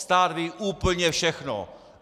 Stát ví úplně všechno.